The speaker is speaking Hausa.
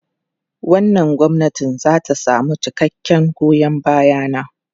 Wannan gwamnati za ta samu cikakken goyon baya na.